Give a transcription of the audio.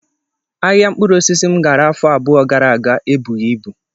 Ahịa mkpụrụosisi m gara afọ abụọ gara aga ebughị ibu